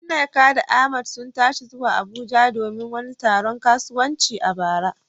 Nneka da Ahmad sun tashi zuwa Abuja domin wani taron kasuwanci a bara.